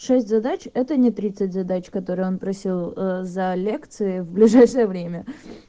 шесть задач это не тридцать задач которые он просил за лекции в ближайшее время